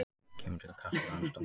Kemur til kasta landsdóms